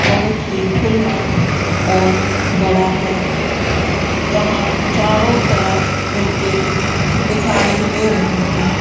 बहुत ही खुल्ला और बड़ा है यहां चारों तरफ मिट्टी दिखाई दे रही है।